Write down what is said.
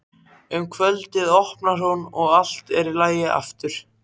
Um kvöldið opnar hún og allt er í lagi aftur.